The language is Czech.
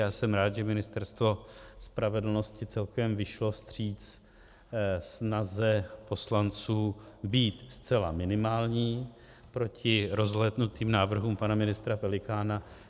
Já jsem rád, že Ministerstvo spravedlnosti celkem vyšlo vstříc snaze poslanců být zcela minimální proti rozlétnutým návrhům pana ministra Pelikána.